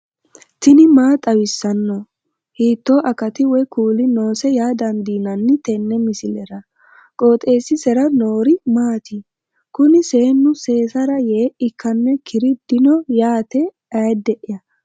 tini maa xawissanno ? hiitto akati woy kuuli noose yaa dandiinanni tenne misilera? qooxeessisera noori maati? kuni seennu seesara yee ikkannoikkiri dino yaate ayde'ya